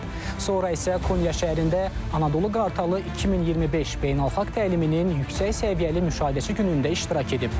Sonra isə Konya şəhərində Anadolu Qartalı 2025 beynəlxalq təliminin yüksək səviyyəli müşahidəçi günündə iştirak edib.